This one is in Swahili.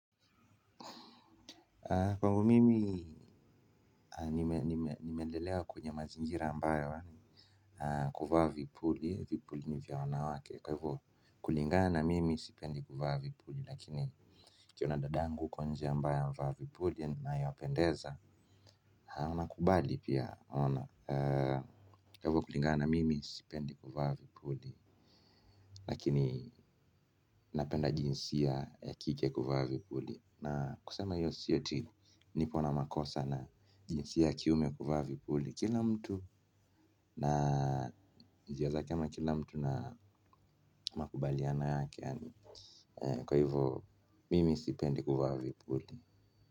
Kwangu mimi nimelelewa kwenye mazingira ambayo kuvaa vipuli, vipuli ni vya wanawake. Kwa hivo kulingana, mimi sipendi kuvaa vipuli. Lakini nikiona dadangu huko nje ambaye amevaa vipuli naye apendeza, na kubali pia ona. Kwa hivo kulingana, mimi sipendi kuvaa vipuli. Lakini napenda jinsia ya kike kuvaa vipuli. Na kusema hio si ati niko na makosa na jinsia ya kiume kuvaa vipuli kila mtu na njia zake ama kila mtu na makubaliano yake. Kwa hivyo mimi sipendi kuvaa vipuli.